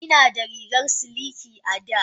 Ina da rigar siliki a da.